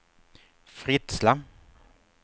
Fritsla